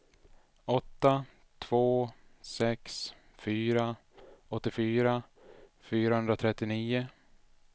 åtta två sex fyra åttiofyra fyrahundratrettionio